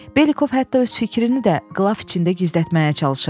Belikov hətta öz fikrini də qlaf içində gizlətməyə çalışırdı.